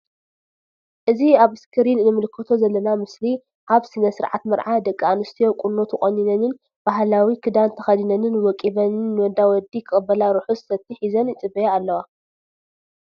እዚ ኣብ እስክሪን እንምልከቶ ዘለና ምስሊ ኣብ ስነ ስርዓት መርዓ ደቂ ኣንስትዮ ቁኖ ተቆኒነን ባህላዊ ክድን ተከዲነን ወቂበን ን ዳ ወዲ ክቅበላ ርሑስ ሰቲ ሒዘን ይጽበያ ኣለዋ።